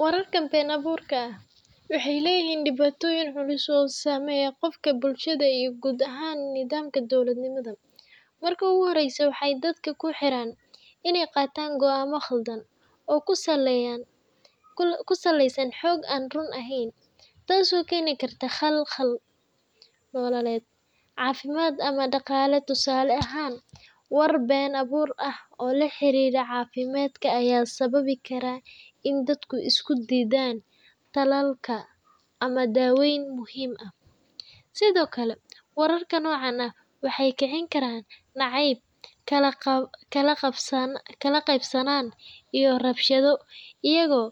Wararka been abuurka ah waxay leeyihiin dhibaatooyin culus oo saameeya qofka, bulshada, iyo guud ahaan nidaamka dawladnimo. Marka ugu horreysa, waxay dadku ku riixaan inay qaataan go’aamo khaldan oo ku saleysan xog aan run ahayn, taasoo keeni karta khalkhal nololeed, caafimaad, ama dhaqaale. Tusaale ahaan, warar been abuur ah oo la xiriira caafimaadka ayaa sababi kara in dadku iska diidaan tallaalka ama daaweyn muhiim ah. Sidoo kale, wararka noocan ah waxay kicin karaan nacayb, kala qaybsanaan, iyo rabshado, iyagoo